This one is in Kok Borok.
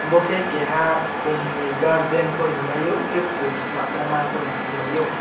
mo ke keha kum ni garden po hingmai o hingke kum selamoi ma hing po hingmai o.